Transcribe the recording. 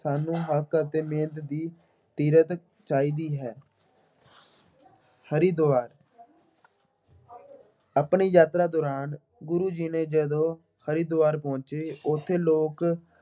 ਸਾਨੂੰ ਹੱਕ ਅਤੇ ਮਿਹਨਤ ਦੀ ਸੀਰਤ ਚਾਹੀਦੀ ਹੈ। ਹਰਿਦੁਆਰ ਆਪਣੀ ਯਾਤਰਾ ਦੌਰਾਨ ਗੁਰੂ ਜੀ ਨੇ ਜਦੋਂ ਹਰਿਦੁਆਰ ਪਹੁੰਚੇ, ਉੱਥੇ ਲੋਕ